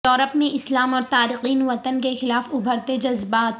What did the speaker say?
Europe میں اسلام اور تارکین وطن کے خلاف ابھرتےجذبات